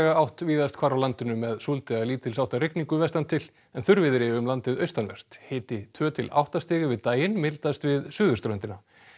átt víðast hvar á landinu með súld eða lítils háttar rigningu vestan til en þurrviðri um landið austanvert hiti tvö til átta stig yfir daginn mildast við suðurströndina